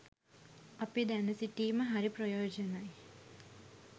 අපි දැන සිටීම හරි ප්‍රයෝජනයි.